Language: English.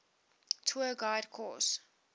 tour guide course